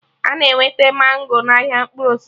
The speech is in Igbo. Ana enweta mango n'ahịa mkpụrụ osisi